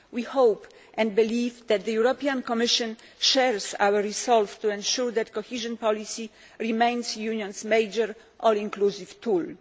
We hope and believe that the European Commission shares our resolve to ensure that cohesion policy remains the Union's major all inclusive tool.